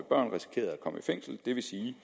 komme i fængsel det vil sige